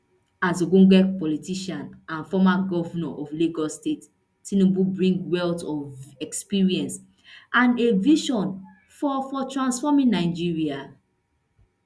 as ogbonge politician and former govnor of lagos state tinubu bring wealth of experience and a vision for for transforming nigeria